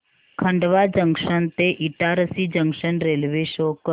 Khandwa junction ते Itarsi junction railway show कर